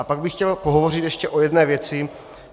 A pak bych chtěl pohovořit ještě o jedné věci.